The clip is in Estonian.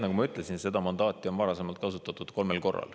Nagu ma ütlesin, seda mandaati on varasemalt kasutatud kolmel korral.